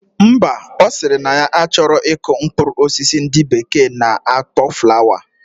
Mba, osiri na ya achoro iku mkprur osisi ndi bekee na akpo flower